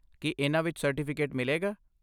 ਕੀ ਇਹਨਾਂ ਵਿੱਚ ਸਰਟੀਫਿਕੇਟ ਮਿਲੇਗਾ?